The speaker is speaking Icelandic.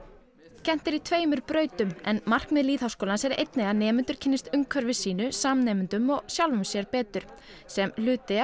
kennt er á tveimur brautum en markmið lýðháskólans er einnig að nemendur kynnist umhverfi sínu samnemendum og sjálfum sér betur sem hluti af